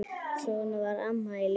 Svona var Amma í Ljós.